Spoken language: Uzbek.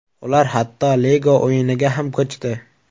Ular hatto Lego o‘yiniga ham ko‘chdi.